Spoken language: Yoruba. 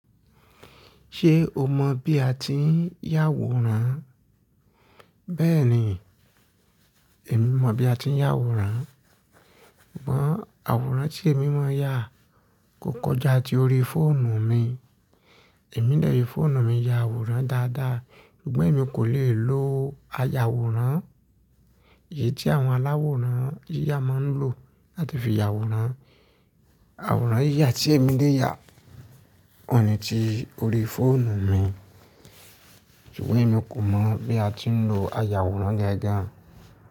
Ṣé o mọ bí a ti ń yà àwòrán? Bẹ́ẹ̀ni, èmi mọ bí a ti ń yà àwòrán. Ǹbọ̀ àwòrán tí èmi máa ń yà kò kọjá ti orí fóònù mi. Èmi lẹ́yìn fóònù mi ya àwòrán dáadáa, ṣùgbọ́n èmi kò lè lo ayàwòrán èyí tí àwọn aláwòrán yíyà máa ń lò láti fi ya àwòrán. Àwòrán yíyà tí èmi lè yà oun ní ti orí fóònù mi, ṣùgbọ́n èmi kò mọ̀ bí a ti ń lo ayàwòrán gangán.